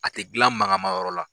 A tɛ gilan mankanma yɔrɔ la.